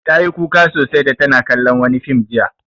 Ta yi kuka sosai da take kallon wani fim jiya.